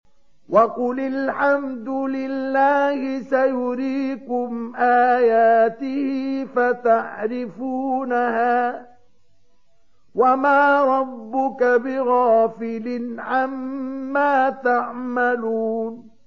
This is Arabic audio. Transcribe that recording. وَقُلِ الْحَمْدُ لِلَّهِ سَيُرِيكُمْ آيَاتِهِ فَتَعْرِفُونَهَا ۚ وَمَا رَبُّكَ بِغَافِلٍ عَمَّا تَعْمَلُونَ